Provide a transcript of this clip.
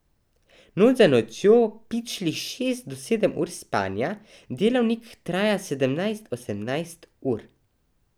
Noč za nočjo pičlih šest do sedem ur spanja, delavnik traja sedemnajst, osemnajst ur.